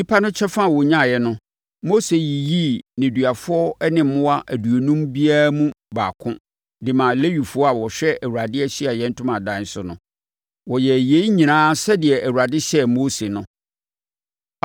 Nnipa no kyɛfa a wɔnyaeɛ no, Mose yiyii nneduafoɔ ne mmoa aduonum biara mu baako de maa Lewifoɔ a wɔhwɛ Awurade Ahyiaeɛ Ntomadan so no. Wɔyɛɛ yei nyinaa sɛdeɛ Awurade hyɛɛ Mose no.